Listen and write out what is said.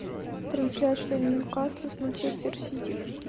трансляция нью касл с манчестер сити